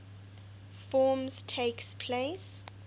forms takes place